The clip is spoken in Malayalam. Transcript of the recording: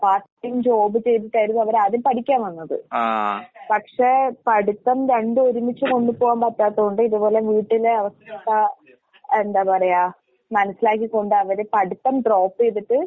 പാർട്ട് ടൈം ജോബ് ചെയ്തിട്ടായിരുന്നു അവരാദ്യം പഠിക്കാൻ വന്നത്. പക്ഷെ പഠിത്തം രണ്ടും ഒരുമിച്ച് കൊണ്ടുപോവാൻ പറ്റാത്ത കൊണ്ട് ഇതുപോലെ വീട്ടിലെ അവസ്ഥ എന്താ പറയാ മനസിലാക്കിക്കൊണ്ടവര് പഠിത്തം ഡ്രോപ്പ് ചെയ്തിട്ട്